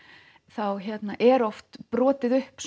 þá eru oft brotið upp